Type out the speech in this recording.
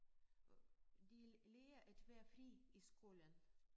De lærer at være frie i skolen